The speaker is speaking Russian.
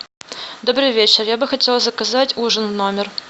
добрый вечер я бы хотела заказать ужин в номер